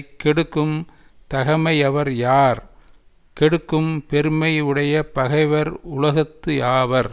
கெடுக்கும் தகைமையவர் யார் கெடுக்கும் பெருமை உடைய பகைவர் உலகத்து யாவர்